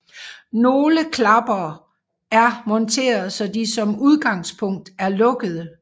Nogle klapper er monteret så de som udgangspunkt er lukkede